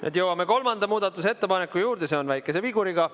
Nüüd jõuame kolmanda muudatusettepaneku juurde, see on väikese viguriga.